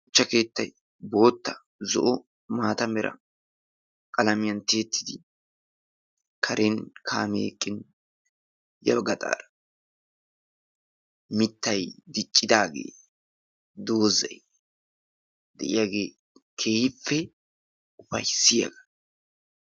Shuchcha keettay bootta , zo'o maata mera qalamiyaan tiyyeti karen kaame eqqin ya bagga gaxaara mittay diccidaaage doozay de'iyaage keehipppe upayssiyaaga.